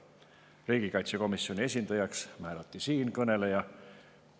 Riigikaitsekomisjoni esindajaks määrati siinkõneleja.